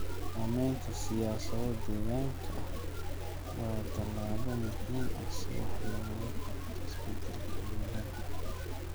Sameynta siyaasado deegaanka ah waa tallaabo muhiim ah si wax looga qabto isbedelada cimilada.